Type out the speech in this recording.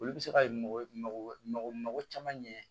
Olu bɛ se ka mɔgɔ mago mago caman ɲɛ